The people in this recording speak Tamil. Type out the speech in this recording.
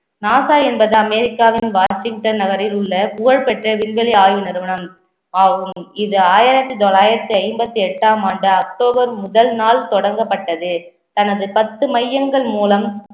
நாசா என்பது அமெரிக்காவின் வாஷிங்டன் நகரில் உள்ள புகழ்பெற்ற விண்வெளி ஆய்வு நிறுவனம் ஆகும் இது ஆயிரத்தி தொள்ளாயிரத்தி ஐம்பத்தி எட்டாம் ஆண்டு அக்டோபர் முதல் நாள் தொடங்கப்பட்டது தனது பத்து மையங்கள் மூலம்